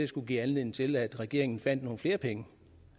skulle give anledning til at regeringen fandt nogle flere penge